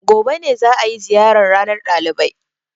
Gobe ne za a yi ziyarar ranar ɗalibai.